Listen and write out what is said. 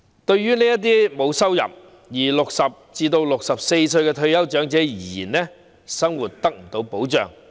對於這些沒有收入並介乎60歲至64歲的退休長者而言，生活得不到保障。